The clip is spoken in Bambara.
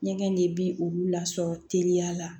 Ɲɛgɛn de bi olu lasɔrɔ teliya la